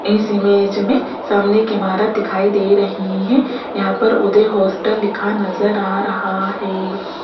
इस इमेज में सामने एक इमारत दिखाई दे रही है यहां पर उदय हॉस्टल लिखा नजर आ रहा है।